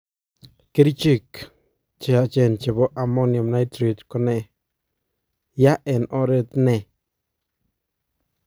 Kericheek cheyachen chebo ammonium nitrate ko nee, yaa en oret nee?